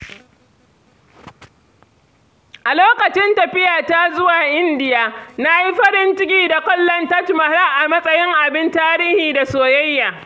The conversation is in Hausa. A lokacin tafiyata zuwa Indiya, na yi farin ciki da kallon Taj Mahal a matsayin abin tarihi da soyayya.